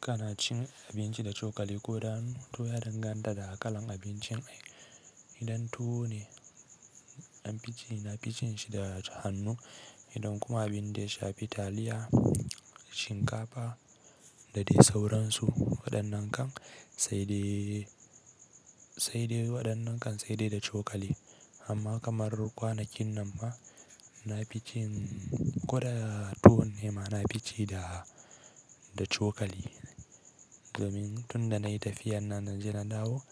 Ka na cin abinci da cokali ko da hannu to ya danganta da kalan abincin. Idan tuwo ne an fi ci na ficin shi da hannu, idan kuma abun da ya sha fi taliya, shinkafa da dai sauransu waɗannan kan sai dai waɗannan kan sai dai da cokali. Amma kamar kwanakin nan ma na ficin ko da tuwo ne ma na fici da, da cokali. Domin tun da na yi tafiyar na naje na dawo,